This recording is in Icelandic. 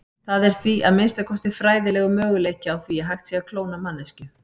Það er því, að minnsta kosti fræðilegur, möguleiki á því hægt sé að klóna manneskju.